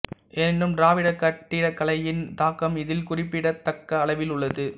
எனினும் திராவிடக் கட்டிடக்கலையின் தாக்கம் இதில் குறிப்பிடத் தக்க அளவில் உள்ளது